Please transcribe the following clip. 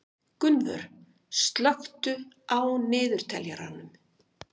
Gunnvör, slökktu á niðurteljaranum.